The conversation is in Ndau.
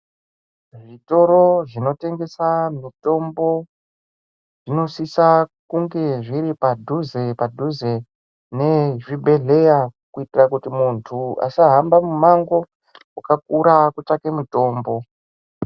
Zvitoro zvinotengesa mitombo zvinosisa kunge zviri padhuze padhuze nezvibhedhlera kuitira kuti munthu asahamba mimango wakakura kutsvake mitombo.